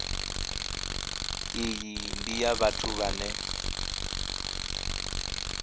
iyi ndi ya vhathu vhane